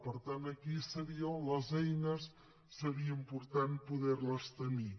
per tant aquí seria on les eines seria important poder les tenir